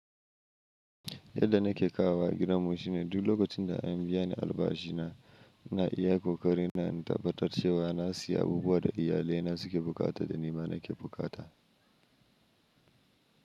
Yadda nake kawowa gidan mu shine, duk lokacin da an biya ni albashi na, na iya kokari na in tabbatar cewa na siya abubuwa da iyalaina suke buƙata da ni ma nake buƙata.